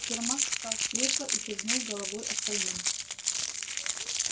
сермак встал с кресла и кивнул головой остальным